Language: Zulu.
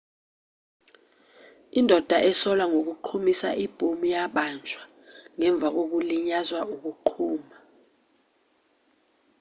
indoda esolwa ngokuqhumisa ibhomu yabanjwa ngemva kokulinyazwa ukuqhuma